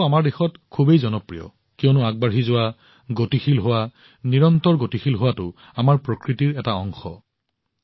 এই মন্ত্ৰটো আমাৰ দেশত ইমান জনপ্ৰিয় কিয়নো আগবাঢ়ি যোৱা গতিশীল হোৱা গতিশীল হোৱাটো আমাৰ প্ৰকৃতিৰ এটা অংশ